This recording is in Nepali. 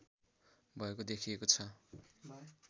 भएको देखिएको छ